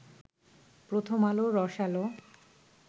প্রথম আলো রস আলো